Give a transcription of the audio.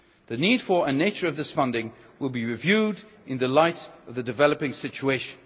The need for, and nature of, this funding will be reviewed in the light of the developing situation.